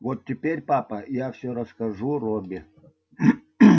вот теперь папа я всё расскажу робби